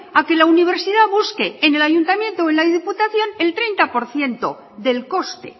a que la universidad busque en el ayuntamiento o en la diputación el treinta por ciento del coste